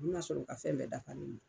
U bɛn'a sɔrɔ u ka fɛn bɛɛ dafalen do.